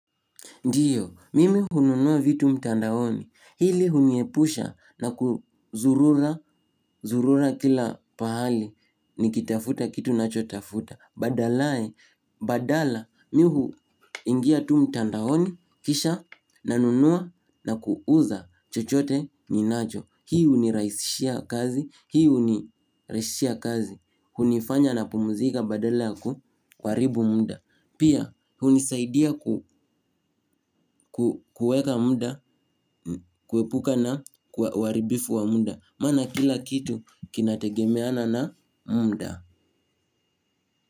Ndiyo, mimi hununuwa vitu mtandaoni, hili huniepusha na kuzurura, zurura kila pahali, nikitafuta kitu nachotafuta, badalae, badala, mihu ingia tu mtandaoni, kisha, nanunuwa na kuuza chochote ninacho. Hii hunirahisishia kazi, hii huniraisishia kazi, hunifanya na pumuzika badala ya kuharibu muda. Pia hunisaidia kuhweka muda, kuepuka na uharibifu wa muda. Maana kila kitu kinategemeana na muda.